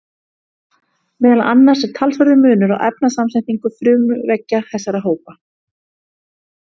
Meðal annars er talsverður munur á efnasamsetningu frumuveggja þessara hópa.